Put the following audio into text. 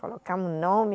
Colocamos o nome.